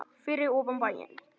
Fyrir ofan bæinn.